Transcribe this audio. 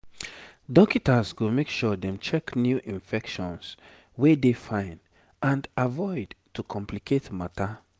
dokita's go make sure dem check new infections wey dey fine and avoid to complicate matter